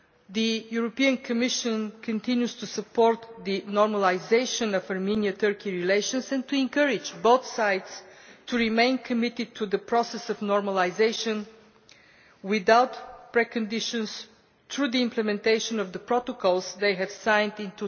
The Commission continues to support the normalisation of Armenian Turkish relations and to encourage both sides to remain committed to the process of normalisation, without preconditions, through the implementation of the protocols they signed in